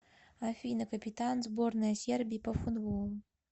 афина капитан сборная сербии по футболу